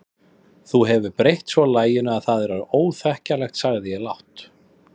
Þú hefur breytt svo laginu að það er orðið óþekkjanlegt sagði ég lágt.